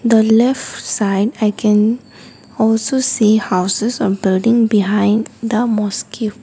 the left side i can also see houses or building behind the mosque.